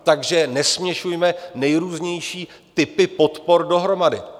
Takže nesměšujme nejrůznější typy podpor dohromady.